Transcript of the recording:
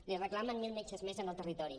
li reclamen mil metges més en el territori